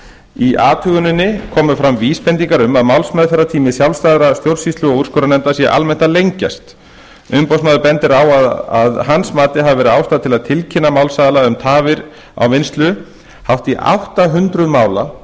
í athuguninni komu fram vísbendingar um að málsmeðferðartími sjálfstæðra stjórnsýslu og úrskurðarnefnda sé almennt að lengjast umboðsmaður bendir á að hans mati hafi verið ástæða til að tilkynna málsaðila um tafir á vinnslu hátt í átta hundruð mála